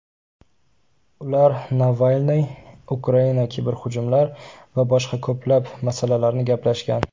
Ular Navalniy, Ukraina, kiberhujumlar va boshqa ko‘plab masalalarni gaplashgan.